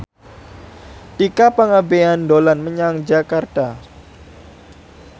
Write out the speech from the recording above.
Tika Pangabean dolan menyang Jakarta